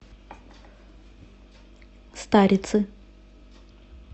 старицы